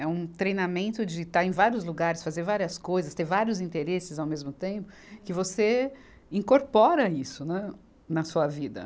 É um treinamento de estar em vários lugares, fazer várias coisas, ter vários interesses ao mesmo tempo, que você incorpora isso, né, na sua vida.